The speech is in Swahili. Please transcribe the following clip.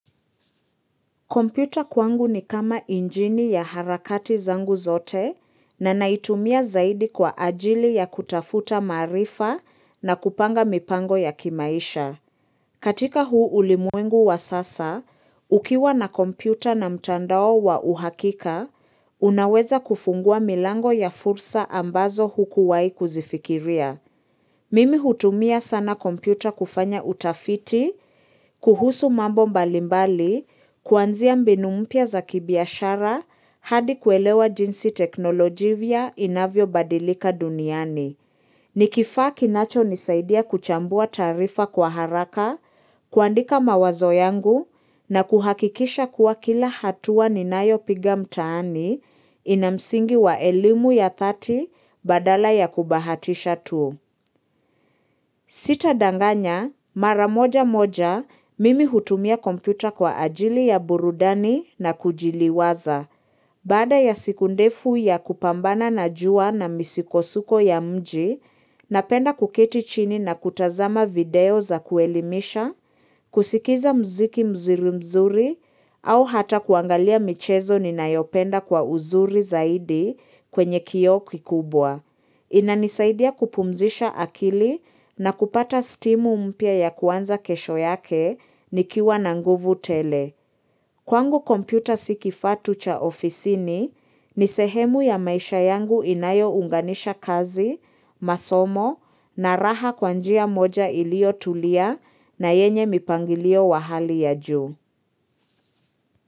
Kompyuta kwangu ni kama injini ya harakati zangu zote na naitumia zaidi kwa ajili ya kutafuta maarifa na kupanga mipango ya kimaisha. Katika huu ulimwengu wa sasa, ukiwa na kompyuta na mtandao wa uhakika, unaweza kufungua milango ya fursa ambazo hukuwai kuzifikiria. Mimi hutumia sana kompyuta kufanya utafiti, kuhusu mambo mbalimbali, kuanzia mbinu mpya za kibiashara hadi kuelewa jinsi teknolojivya inavyo badilika duniani. Ni kifaa kinacho nisaidia kuchambua taarifa kwa haraka, kuandika mawazo yangu na kuhakikisha kuwa kila hatua ninayopiga mtaani ina msingi wa elimu ya thati badala ya kubahatisha tu. Sitadanganya, mara moja moja, mimi hutumia kompyuta kwa ajili ya burudani na kujiliwaza. Baada ya siku ndefu ya kupambana na jua na misikosuko ya mji, napenda kuketi chini na kutazama video za kuelimisha, kusikiza mziki mzuri mzuri, au hata kuangalia michezo ninayopenda kwa uzuri zaidi kwenye kio kikubwa. Inanisaidia kupumzisha akili na kupata stimu mpya ya kuanza kesho yake nikiwa na nguvu tele. Kwangu kompyuta si kifaa tu cha ofisini ni sehemu ya maisha yangu inayounganisha kazi, masomo na raha kwa njia moja iliotulia na yenye mipangilio wa hali ya juu.